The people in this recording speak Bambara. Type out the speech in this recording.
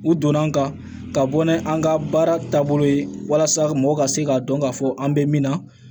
U donna n kan ka bɔ ni an ka baara taabolo ye walasa mɔgɔ ka se k'a dɔn k'a fɔ an bɛ min na